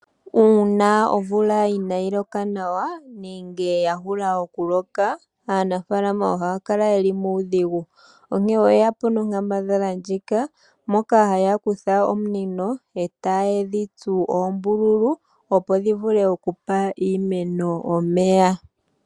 Uuna omvula inaayi loka nawa, nenge yahula okuloka, aanafalama ohaya kala yeli muudhigu. Onkene oyeya po nonkambadhala ndjika, moka haya kutha ominino, e taye dhi tsu oombululu, opo dhivule okupa iimeno omeya.